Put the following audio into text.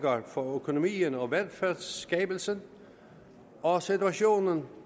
for økonomien og velfærdsskabelsen og situationen